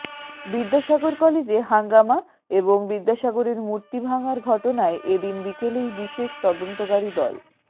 বিদ্যাসাগর কলেজে হাঙ্গামা এবং বিদ্যাসাগরের মূর্তি ভাঙার ঘটনায় এ দিন বিকেলেই বিশেষ তদন্তকারী দল